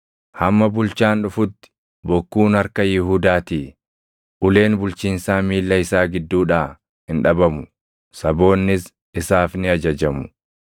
Hamma bulchaan dhufutti bokkuun harka Yihuudaatii, uleen bulchiinsaa miilla isaa gidduudhaa hin dhabamu; saboonnis isaaf ni ajajamu.